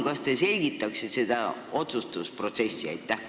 Kas te selgitaksite seda otsustusprotsessi?